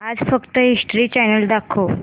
आज फक्त history channel दाखव